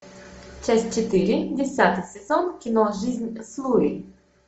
часть четыре десятый сезон кино жизнь с луи